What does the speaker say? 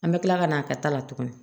An bɛ kila ka na a ka ta la tuguni